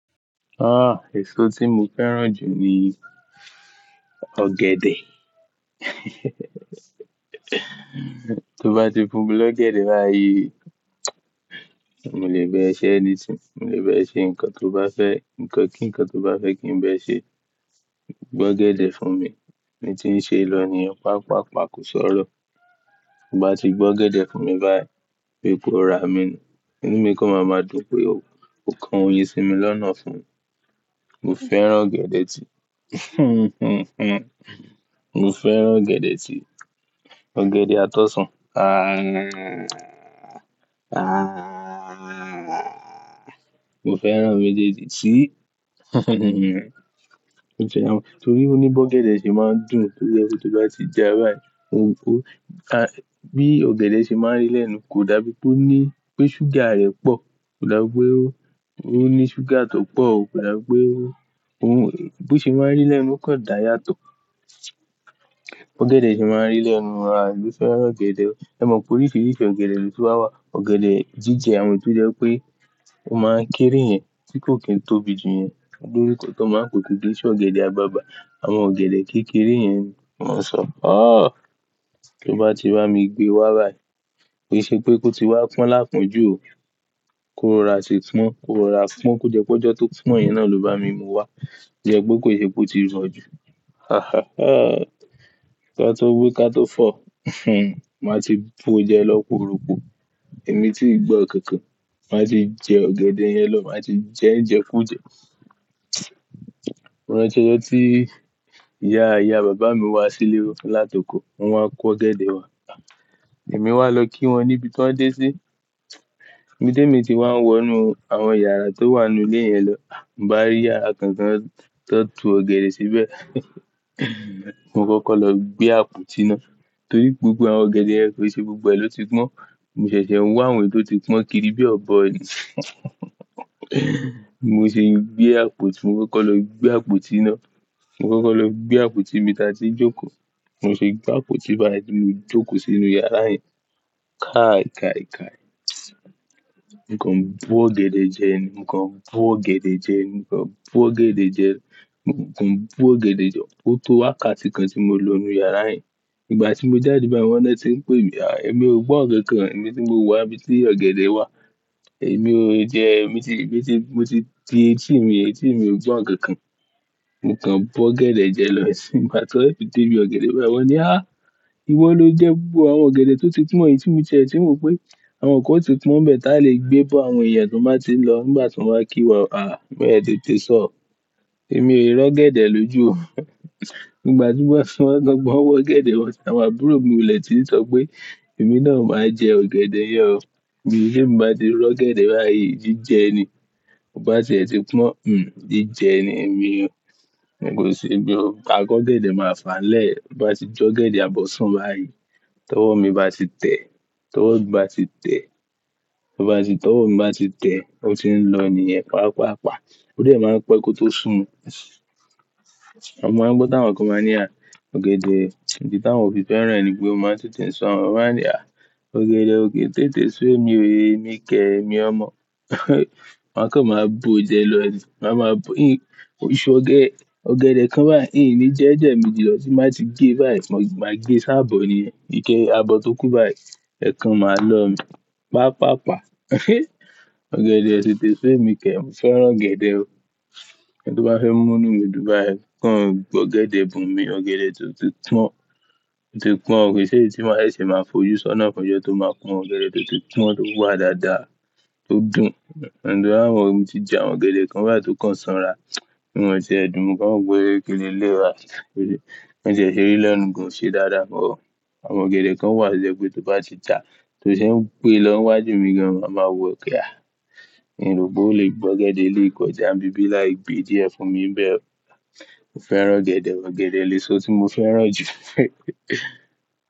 Ah, èso tí mo fẹ́ràn jù ni ọ̀gẹ̀dẹ̀. To bá ti fún mi ló ọ̀gẹ̀dẹ̀ báyìí, mo lè ba ẹ ṣẹ́ anything, mo lè ba ẹ ṣe nǹkan tó bá fẹ́, nǹkan kí nǹkan tó bá fẹ́ kí n ba ẹ ṣe. Gbé ọ̀gẹ̀dẹ̀ fún mi, èmi tí ń ṣe lọ nìyẹn pàápàá, ko sọ́rọ̀. To bá ti gbé ọ̀gẹ̀dẹ̀ fún mi báyìí pé bí pe o rà mí ni, inú mi kan máa ma dùn pé o, o kan oyin sí mi lọ́nà fún. Mo fẹ́ràn ọ̀gẹ̀dẹ̀ ti mo fẹ́ràn ọ̀gẹ̀dẹ̀ ti ọ̀gẹ̀dẹ̀ at'ọsàn. Ah, ah, mo fẹ́ràn méjéèjì ti, mo fẹ́ràn. Torí pé ní bi ọ̀gẹ̀dẹ̀ ṣe máa ń dùn, to jẹ́ pé bí ó bá ti já báyìí, ó, ó, a-- bí ọ̀gẹ̀dẹ̀ ṣe máa ń rí lẹ́nu kò dàbí pé ó ní, pé ṣúgà rẹ̀ pọ̀, kò dàbí pé ó, ó ní ṣúgà tó pọ̀, kò dàbí pé ó, ó, b'o ṣe máa ń rí lẹ́nu kàn dá yàtọ̀. Bi Ọ̀gẹ̀dẹ̀ ṣe máa ń rí lẹ́nu, àbí mo fẹ́ràn ọ̀gẹ̀dẹ̀. Ẹ mọ̀ pé oríṣiríṣi ọ̀gẹ̀dẹ̀ ló ti wá wà. Ọ̀gẹ̀dẹ̀ jíjẹ àwọn èyí tó jẹ́ pé ó máa ń kéré yẹn tí kò kín tóbi jù yẹn. Òbí mi kò tó máa ń kó kìí n ṣe ọ̀gẹ̀dẹ̀ àgbagbà. Àwọn ọ̀gẹ̀dẹ̀ kékeré yẹn ni wọ́n ń sọ. Ah! Tí ó bá ti bá mi gbé wá báyìí, kì í ṣe pé kó ti wá pọ́n l'apọn jú o. Ko rà ṣé tí wọ́n, ko rọra pọ́n, ko jẹ́ pé ọjọ́ tó pọ́n yìí náà ló bá mi mú wá. To jẹ́ pe kó ṣe p'ó ti rọ jù. Hahaha. Ka tó wi, ka tó fọ̀, màá ti bo jẹ lọ́ poooropo. Èmi tí ń gbọ́ kankan, màá ti jẹ ọ̀gẹ̀dẹ̀ yẹn lọ̀, màá ti jẹ ń jẹ kú jẹ. Mo rántí ọjọ́ tí ìyá, ìyá bàbá mi wá sílé wa látòko, wọ́n wá ko ọ̀gẹ̀dẹ̀ wa. Èmi wá lọ kí wọn níbi tań dé sí. Ibi ti èmi ti wá ń wọ inú àwọn yàrá tó wà nínú ilé yẹn lọ. Mo bá rí yàrá kan kan t'an to ọ̀gẹ̀dẹ̀ síbẹ̀. Mo kọ́kọ́ lọ gbé àpótí ná, torí gbogbo àwọn ọ̀gẹ̀dẹ̀ yẹn kò ṣe gbogbo ẹ̀ ló ti pọ́n. Mo ṣẹ̀ṣẹ̀ ń wa àwọn èyí tó ti pọ́n kiri bí ọ̀bọ bi mo ṣe gbé àpótí, mo kọ́kọ́ lọ gbé àpótí ná. Mo kọ́kọ́ lọ gbé àpótí, ni'bi tia ti n jókòó. Mo ṣe gbé àpótí báyìí tí mo jókòó sínú yàrá yẹn. Kai kai kai. Mo kàn n bọ́ ọ̀gẹ̀dẹ̀ jẹ ni, mo kàn bo ọ̀gẹ̀dẹ̀ jẹ ni, mo kàn bo ọ̀gẹ̀dẹ̀ jẹ ni, mo kàn bo ọ̀gẹ̀dẹ̀ jẹ, ó tó wákàtí kan tí mo lọ nínú yàrá yẹn. Ìgbà tí mo jáde báyìí wọn na tí ń pè mí, à, èmi ò gbọ́ nnkan kan, èmi tí mo wà ibi tí ọ̀gẹ̀dẹ̀ wà. Èmi o jẹ, èmi ti, èmi ti, mo ti, ti, tí mi, tí èmi ò gbọ́ òkè kan. Mo kàn bọ́ ọ̀gẹ̀dẹ̀ jẹ lọ, sí máa tọrẹ títí bí ọ̀gẹ̀dẹ̀ bá wọ́n ní "A! Ìwọ ló jẹ gbogbo àwọn ọ̀gẹ̀dẹ̀ tó ti pọ́n yìí tí mo jẹ, tí mo pé àwọn kò ti pọ́n bẹ́ẹ̀ táa lè gbé bọ́ àwọn èèyàn tí wọ́n bá ti ń lọ nígbà tí wọn bá kí wọn." é tètè sọ ọ. Èmi ò ró ọ̀gẹ̀dẹ̀ lójú o. Nígbà tí wọ́n, tí wọ́n gbọ́n wọ́ ọ̀gẹ̀dẹ̀ wọn sí, àwọn àbúrò mi wọlé, ti ń sọ pé "Èmi náà máa jẹ ọ̀gẹ̀dẹ̀ yẹn o." tẹ mi ba ti ró ọ̀gẹ̀dẹ̀ báyìí, jíjẹ ẹni. To bá te ti pọ́n, hm, jíjẹ ẹni mi o. Mi kò ṣe, mi ò-- àkọ́ ọ̀gẹ̀dẹ̀ máa fà lẹ́ẹ̀. Bo bá ti jó ọ̀gẹ̀dẹ̀ àbọ̀ sún báyìí, tọ́wọ́ mi bá ti tẹ̀, tọ́wọ́ bá ti tẹ̀, tọ́wọ́ bá ti, tọ́wọ́ mi bá ti tẹ̀, ó ti ń lọ nìyẹn pàápàá. Ó dẹ̀ máa ń pẹ́ kó tó sùn A mọ̀ pé táwọn kan máa ń ní a, ọ̀gẹ̀dẹ̀ ni táwọn ò fi fẹ́ràn ẹni pé ó máa ń tètè ń su awọ́n máa ń ní a, ọ̀gẹ̀dẹ̀ ò kí ń tètè su mi o, èmi kẹ̀, èmi ọmọ. Wọn kàn máa bo jẹ lọ, máa ma bu, oṣù ọ̀gẹ́, ọ̀gẹ̀dẹ̀ kan báyìí, í, mi jẹ́ ju emaji lọ tí màá ti gé báyìí, mo máa gé ṣáàbọ̀ ni, ike abọ́ tó kú báyìí, ẹ̀ kan máa lọ mi pàápàá. Ọ̀gẹ̀dẹ̀ ò tètè su mi kẹ̀, mo fẹ́ràn ọ̀gẹ̀dẹ̀ o. Ẹni tó bá fẹ́ mú inú mi dùn báyìí, kàn gbé ọ̀gẹ̀dẹ̀ búmi, ọ̀gẹ̀dẹ̀ tó ti pọ́n, tó ti pọ́n, kì í ṣe èyí tí wọ́n ó lè ṣe máa fojú sọ́nà fún ẹni tó máa kun ọ̀gẹ̀dẹ̀ tó ti pọ́n tó wà dáadáa, tó dùn. Òun tó bá mọ̀, èmi ti jẹ àwọn ọ̀gẹ̀dẹ̀ kan báyìí tó kàn sanra. Won te ẹdùn, mo wo kàn wope ki leleyii bayii Wọ́n ṣẹ̀ṣẹ̀ rí lọ́nu gan oṣe dáadáa but Àwọn ọ̀gẹ̀dẹ̀ kan wà ṣẹ pé tó bá ti jà, tó ṣe ń gbé lọ́ niwá jù mí gan an, màá ma wọ pe haa Ìrù pe ò lè gbé ọ̀gẹ̀dẹ̀ eleyii kọ̀jà, ńbí bí láì gbé díẹ̀ fún mi bẹ́ẹ̀ o. Mo fẹ́ràn ọ̀gẹ̀dẹ̀, ọ̀gẹ̀dẹ̀ ni èso tí mo fẹ́ràn jù.